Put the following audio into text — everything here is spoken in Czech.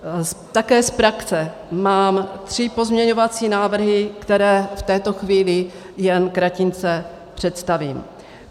Také z praxe mám tři pozměňovací návrhy, které v této chvíli jen kratince představím.